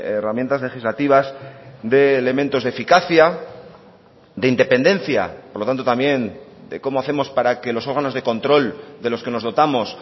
herramientas legislativas de elementos de eficacia de independencia por lo tanto también de cómo hacemos para que los órganos de control de los que nos dotamos